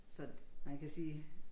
Så man kan sige